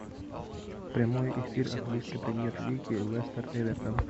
прямой эфир английской премьер лиги лестер эвертон